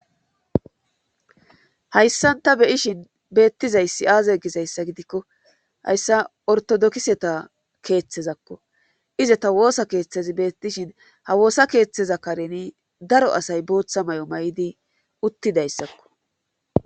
hayssan ta be'ishin beettizayssi aaze gizayssa gidikko hayssa ortodokiseta keeththezakko iza ta woosa keeththezi beettishin ha woosa keeththeza kareni daro asay booththa mayo mayidi uttidayssakko